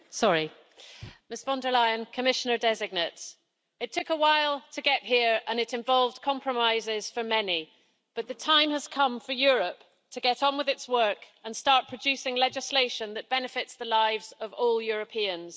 Madam President, Ms von der Leyen, Commissioner designates, it took a while to get here and it involved compromises for many, but the time has come for Europe to get on with its work and start producing legislation that benefits the lives of all Europeans.